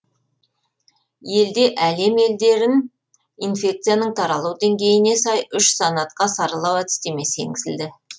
елде әлем елдерін инфекцияның таралу деңгейіне сай үш санатқа саралау әдістемесі енгізілді